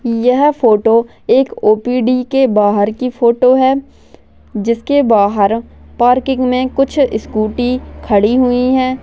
यह फोटो एक ओ_पी_डी के बाहर की फोटो है जिसके बाहर पार्किंग मे कुछ स्कूटी खड़ी हुई है।